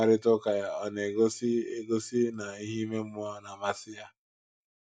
Mkparịta ụka ya ọ̀ na - egosi - egosi na ihe ime mmụọ na - amasị ya?